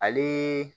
Ale